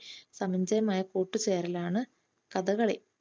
സമഞ്ജയമായ കൂട്ടുചേരലാണ് കഥകളി.